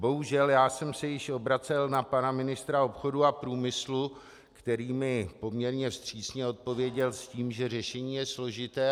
Bohužel já jsem se již obracel na pana ministra obchodu a průmyslu, který mi poměrně vstřícně odpověděl s tím, že řešení je složité.